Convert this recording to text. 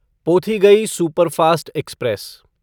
Pothigai superfast express